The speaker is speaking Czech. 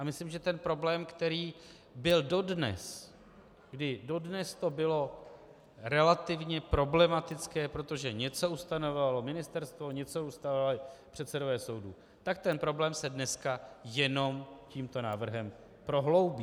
A myslím, že ten problém, který byl dodnes, kdy dodnes to bylo relativně problematické, protože něco ustanovovalo ministerstvo, něco ustanovovali předsedové soudů, tak ten problém se dneska jenom tímto návrhem prohloubí.